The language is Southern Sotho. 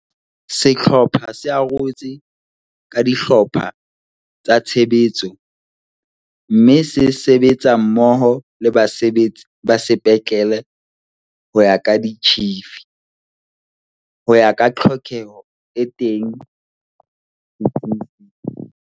Sehlopha se arotswe ka dihlopha tsa tshebetso mme se sebetsa mmoho le basebetsi ba sepetlele ho ya ka ditjhifi, ho ya ka tlhokeho e teng se tsing seo.